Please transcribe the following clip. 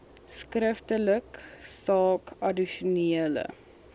skriftelik saak addisionele